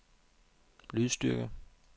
lydstyrke